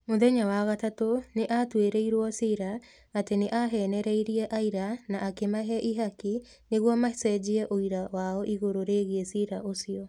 Mũthenya wa gatatu nĩ aatuĩrĩirũo cira atĩ nĩ aheenereirie aira na akĩmahe ihaki nĩguo macenjie ũira wao igũrũ rĩgiĩ ciira ũcio.